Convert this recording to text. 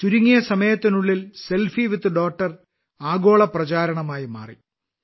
ചുരുങ്ങിയ സമയത്തിനുള്ളിൽ selfie with daughter ആഗോള പ്രചാരണമായി മാറി